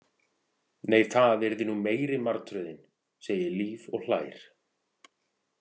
Nei, það yrði nú meiri martröðin, segir Líf og hlær.